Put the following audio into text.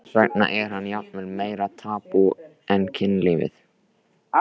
Þess vegna er hann jafnvel meira tabú en kynlífið.